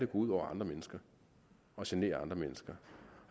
ud over andre mennesker og generer andre mennesker